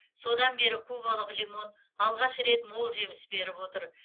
содан бері кубалық лимон алғаш рет мол жеміс беріп отыр